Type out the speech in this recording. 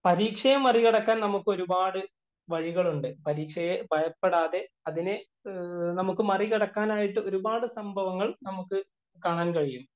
പരീക്ഷയെ മറികടക്കാന്‍ നമുക്ക് ഒരു പാട് വഴികള്‍ ഉണ്ട്. പരീക്ഷയെ ഭയപ്പെടാതെ, അതിനെ നമുക്ക് മരിക്കടക്കാനായിട്ടു ഒരു പാടു സംഭവങ്ങള്‍ നമുക്ക് കാണാന്‍ കഴിയും.